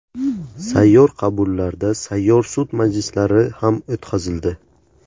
Sayyor qabullarda sayyor sud majlislari ham o‘tkazildi.